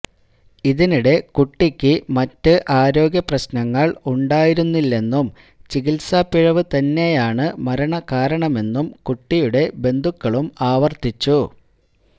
ഇതിനിടെ കുട്ടിയ്ക്ക് മറ്റ് ആരോഗ്യ പ്രശ്നങ്ങൾ ഉണ്ടായിരുന്നില്ലെന്നും ചികിത്സാപ്പിഴവ് തന്നെയാണ് മരണകാരണമെന്നും കുട്ടിയുടെ ബന്ധുക്കളും ആവർത്തിച്ചു